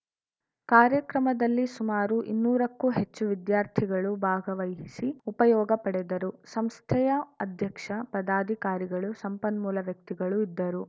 ಕಾರ್ಯಕ್ರಮದಲ್ಲಿ ಸುಮಾರು ಇನ್ನೂರಕ್ಕೂ ಹೆಚ್ಚು ವಿದ್ಯಾರ್ಥಿಗಳು ಭಾಗವಹಿಸಿ ಉಪಯೋಗ ಪಡೆದರು ಸಂಸ್ಥೆಯ ಅಧ್ಯಕ್ಷ ಪದಾಕಾರಿಗಳು ಸಂಪನ್ಮೂಲ ವ್ಯಕ್ತಿಗಳು ಇದ್ದರು